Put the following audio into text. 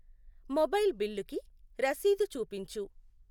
Mobile బిల్లుకి రశీదు చూపించు.